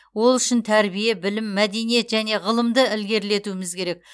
ол үшін тәрбие білім мәдениет және ғылымды ілгерілетуіміз керек